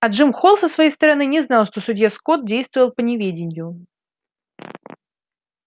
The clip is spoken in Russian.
а джим холл со своей стороны не знал что судья скотт действовал по неведению